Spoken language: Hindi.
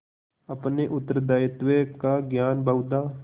अपने उत्तरदायित्व का ज्ञान बहुधा